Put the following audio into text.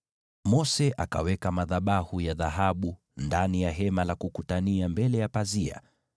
Mose akaweka madhabahu ya dhahabu ndani ya Hema la Kukutania mbele ya pazia